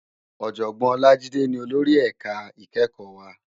Òjògbòn Olajide ni ólóri èká ikèékò wá